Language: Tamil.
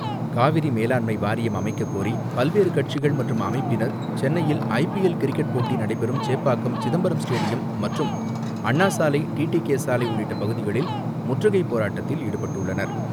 காவிரி மேலாண்மை வாரியம் அமைக்கக்கோரி பல்வேறு கட்சிகள் மற்றும் அமைப்பினர் சென்னையில் ஐ பி எல் கிரிக்கெட் போட்டி நடைபெறும் சேப்பாக்கம் சிதம்பரம் ஸ்டேடியம் மற்றும் அண்ணா சாலை, டி டி கே சாலை உள்ளிட்ட பகுதிகளில் முற்றுகை போராட்டத்தில் ஈடுபட்டுள்ளனர்.